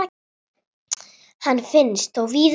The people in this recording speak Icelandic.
Hann finnst þó víðar.